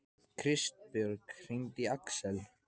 Kristbjörg, hringdu í Aksel.